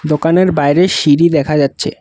দোকানের বাইরে সিঁড়ি দেখা যাচ্ছে।